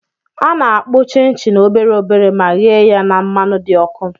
Ana-akpụ chịn chịn obere obere ma ghee ya na mmanụ dị ọkụ.